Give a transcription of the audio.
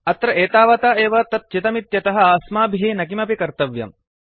अत्र एतावता एव तत् चितमित्यतः अस्माभिः न किमपि कर्तव्यम्